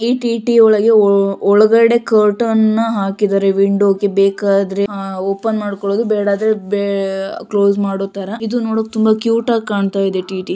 ಈ ಟಿ.ಟಿ ಒಳಗೆ ಒಳಗಡೆ ಕರ್ಟೈನ್ ನ ಹಾಕಿದ್ದಾರೆ. ವಿಂಡೋ ಗೆ ಬೇಕಾದ್ರೆ ಅಹ್ ಓಪನ್ ಮಾಡ್ಕೊಳದು ಬೇಡಾದ್ರೆ ಬೇ ಕ್ಲೋಸ್ ಮಾಡೊತರ. ಇದು ನೋಡಕ್ಕೆ ತುಂಬಾ ಕ್ಯೂಟ್ ಆಗ್ ಕಾಣ್ತಾಇದೆ ಟಿ ಟಿ .